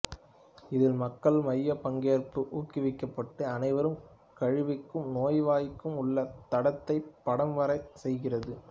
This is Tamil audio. இதில் மக்கள் மையப் பங்கேற்பு ஊக்குவிக்கப்பட்டு அனைவரும் கழிவுக்கும் நோய்வாய்க்கும் உள்ள தடத்தை படம்வரையச் செய்கிறது